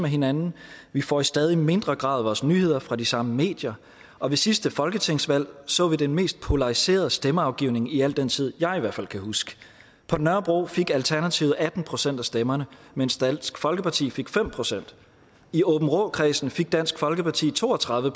hinanden vi får i stadig mindre grad vores nyheder fra de samme medier og ved sidste folketingsvalg så vi den mest polariserede stemmeafgivning i al den tid jeg i hvert fald kan huske på nørrebro fik alternativet atten procent af stemmerne mens dansk folkeparti fik fem procent i aabenraakredsen fik dansk folkeparti to og tredive